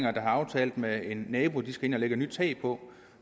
har aftalt med en nabo at de skal ind og lægge et nyt tag på